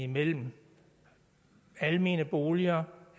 mellem almene boliger